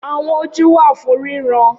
Awọn oju wa fun riran